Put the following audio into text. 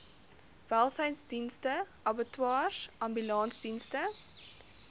welsynsdienste abattoirs ambulansdienste